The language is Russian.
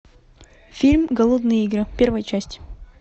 фильм голодные игры первая часть